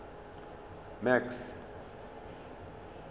max